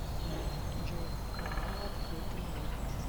джой канал открытый мир